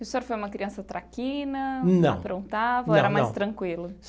O senhor foi uma criança traquina. Não. Aprontava, era mais tranquilo?